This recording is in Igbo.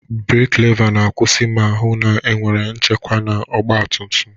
Breeki leva na-akwụsị ma hụ na enwere nchekwa na ọgba tum tum.